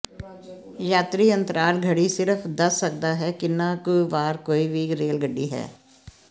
ਯਾਤਰੀ ਅੰਤਰਾਲ ਘੜੀ ਸਿਰਫ ਦੱਸ ਸਕਦਾ ਹੈ ਕਿੰਨਾ ਕੁ ਵਾਰ ਕੋਈ ਵੀ ਰੇਲ ਗੱਡੀ ਹੈ